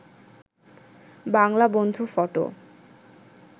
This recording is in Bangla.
বাংলা বন্ধু ফটো